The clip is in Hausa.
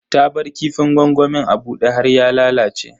Ta bar kifin gwangwamin a bude har ya lalace.